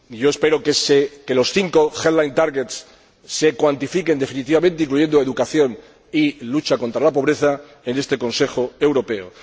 Espero que los cinco headline targets se cuantifiquen definitivamente, incluyendo educación y lucha contra la pobreza en este Consejo Europeo.